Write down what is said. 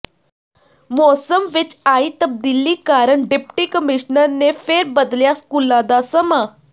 ਮੌਸਮ ਵਿਚ ਆਈ ਤਬਦੀਲੀ ਕਾਰਨ ਡਿਪਟੀ ਕਮਿਸ਼ਨਰ ਨੇ ਫਿਰ ਬਦਲਿਆ ਸਕੂਲਾਂ ਦਾ ਸਮਾਂ